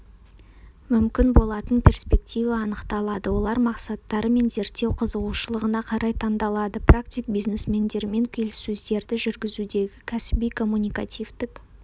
мүмкін болатын перспектива анықталады олар мақсаттары мен зерттеу қызығушылығына қарай таңдалады практик бизнесмендермен келіссөздерді жүргізудегі кәсіби-коммуникативтік